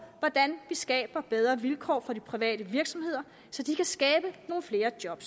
hvordan vi skaber bedre vilkår for de private virksomheder så de kan skabe nogle flere job